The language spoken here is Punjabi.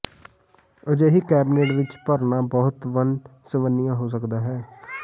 ਅਜਿਹੀ ਕੈਬਨਿਟ ਵਿਚ ਭਰਨਾ ਬਹੁਤ ਵੰਨ ਸੁਵੰਨੀਆਂ ਹੋ ਸਕਦਾ ਹੈ